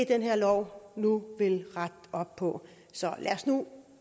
den her lov nu vil rette op på så lad os nu